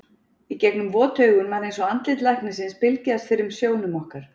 Í gegnum vot augun var eins og andlit læknisins bylgjaðist fyrir sjónum okkar.